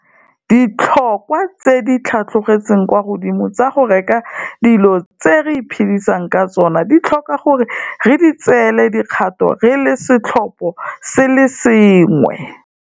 Ditlhotlhwa tse di tlhatlogetseng kwa godimo tsa go reka dilo tse re iphedisang ka tsona ditlhoka gore re di tseele dikgato re le seoposengwe